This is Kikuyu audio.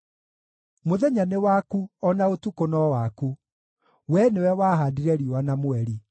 Mũthenya nĩ waku o na ũtukũ no waku; Wee nĩwe wahaandire riũa na mweri.